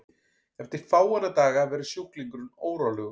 eftir fáeina daga verður sjúklingurinn órólegur